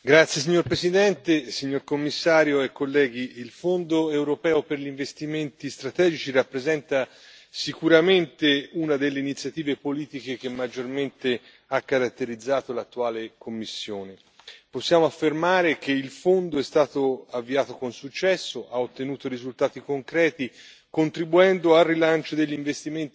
Signora Presidente, onorevoli colleghi, signor Commissario, il Fondo europeo per gli investimenti strategici rappresenta sicuramente una delle iniziative politiche che maggiormente hanno caratterizzato l'attuale Commissione. Possiamo affermare che il Fondo è stato avviato con successo e ha ottenuto risultati concreti,